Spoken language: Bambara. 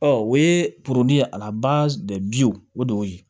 Ɔ o ye poroli ye ala baw o de y'o ye